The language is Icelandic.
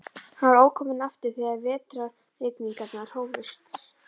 Hann var ókominn aftur þegar vetrarrigningarnar hófust.